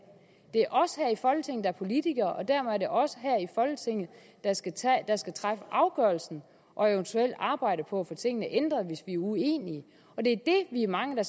det er os her i folketinget der er politikere og dermed er det os her i folketinget der skal træffe afgørelsen og eventuelt arbejde på at få tingene ændret hvis vi er uenige vi er mange der